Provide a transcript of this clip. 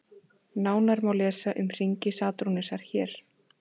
Nánar má lesa um hringi Satúrnusar hér.